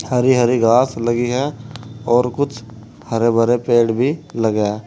हरी हरी घास लगी है और कुछ हरे भरे पेड़ भी लगा--